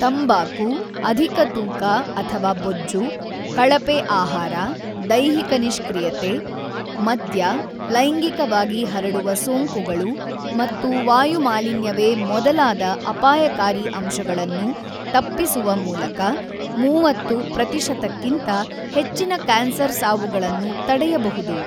ತಂಬಾಕು, ಅಧಿಕ ತೂಕ ಅಥವಾ ಬೊಜ್ಜು, ಕಳಪೆ ಆಹಾರ, ದೈಹಿಕ ನಿಷ್ಕ್ರಿಯತೆ, ಮದ್ಯ, ಲೈಂಗಿಕವಾಗಿ ಹರಡುವ ಸೋಂಕುಗಳು ಮತ್ತು ವಾಯು ಮಾಲಿನ್ಯವೇ ಮೊದಲಾದ ಅಪಾಯಕಾರಿ ಅಂಶಗಳನ್ನು ತಪ್ಪಿಸುವ ಮೂಲಕ ೩೦ ಪ್ರತಿಶತಕ್ಕಿಂತ ಹೆಚ್ಚಿನ ಕ್ಯಾನ್ಸರ್ ಸಾವುಗಳನ್ನು ತಡೆಯಬಹುದು.